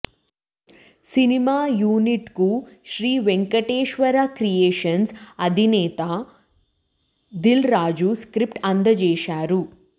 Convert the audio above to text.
cinema యూనిట్కు Sri Venkateswara creations అధినేత Dil Raju script అందజేశారు